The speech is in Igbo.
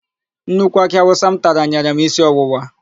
Nnukwu akị awụsa m tara nyere m isi ọwụwa.